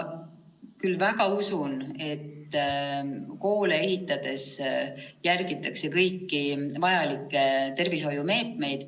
Ma küll väga usun, et koole ehitades järgitakse kõiki vajalikke tervishoiumeetmeid.